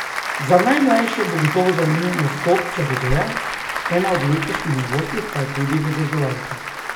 Za najmlajše bo gotovo zanimiv nastop čarodeja, ena od letošnjih novosti pa je tudi vedeževalka.